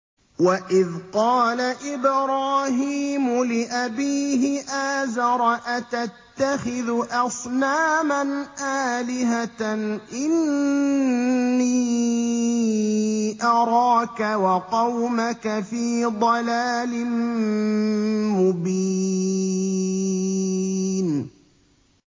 ۞ وَإِذْ قَالَ إِبْرَاهِيمُ لِأَبِيهِ آزَرَ أَتَتَّخِذُ أَصْنَامًا آلِهَةً ۖ إِنِّي أَرَاكَ وَقَوْمَكَ فِي ضَلَالٍ مُّبِينٍ